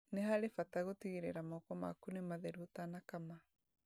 Nĩ harĩ bata gũtigĩrĩra moko maku nĩ matheru ũtanakama